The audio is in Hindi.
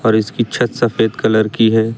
और इसकी छत सफेद कलर की है।